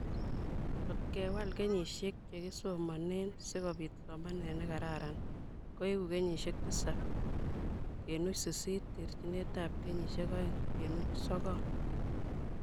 Ngot kewal kenyisiek che kisomonee si kobiit somanet ne kararan koeku kenyisiek tisab kenuch sisit -terjinetab kenyisiek oeng kenuch sokol